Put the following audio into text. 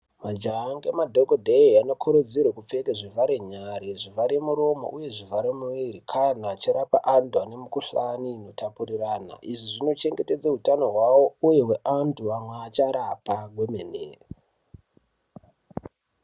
Majaya ngema dhokodheya vano kurudzirwa kupfeke zvivhara nyara, zvivhara muromo uye zvivhara muiri kana vachirapa antu ane mikhuhlani ino tapuriranwa. Izvi zvino chengetedze utano hwavo uye nevanhu vavacharapa kwemene.